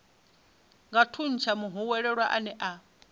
nga thuntsha muhwelelwa ane a